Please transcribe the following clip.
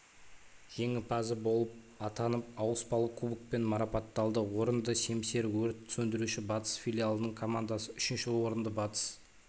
жеңімпазы болып атанып ауыспалы кубокпен марапатталды орынды семсер-өрт сөндіруші батыс филиалының командасы үшінші орынды батыс